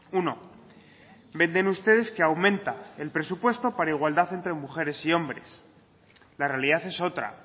uno venden ustedes que aumenta el presupuesto para igualdad entre mujeres y hombres la realidad es otra